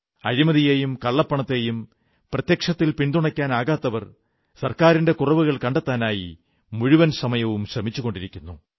അഴിമതിയെയും കള്ളപ്പണത്തെയും പ്രത്യക്ഷത്തിൽ പിന്തുണയ്ക്കാനാകാത്തവർ സർക്കാരിന്റെ കുറവുകൾ കണ്ടെത്താനായി മുഴുവൻ സമയവും ശ്രമിച്ചുകൊണ്ടിരിക്കുന്നു